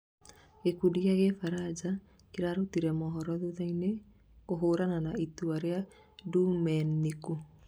gikundi gĩa kibaranja kĩrarũtire mohoro thutha-inĩ " kũhurana na itua ria Dumeniku